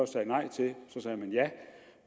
sagde nej til